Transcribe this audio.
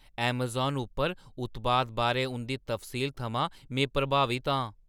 Amazon उप्पर उत्पाद बारै उं‘दी तफसील थमां में प्रभावत आं ।